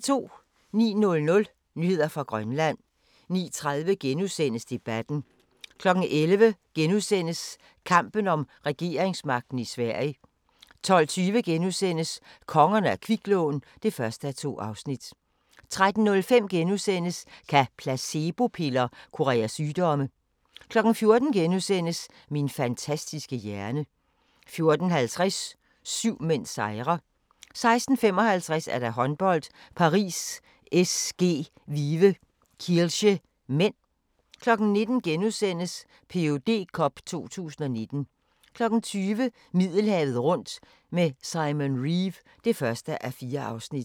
09:00: Nyheder fra Grønland 09:30: Debatten * 11:00: Kampen om regeringsmagten i Sverige * 12:20: Kongerne af kviklån (1:2)* 13:05: Kan placebo-piller kurere sygdomme? * 14:00: Min fantastiske hjerne * 14:50: Syv mænd sejrer 16:55: Håndbold: Paris SG-Vive Kielce (m) 19:00: Ph.d cup 2019 * 20:00: Middelhavet rundt med Simon Reeve (1:4)